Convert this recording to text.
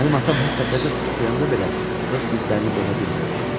Mənim atam hətta qəzəd oxuyanda belə öz hisslərini boğa bilmir.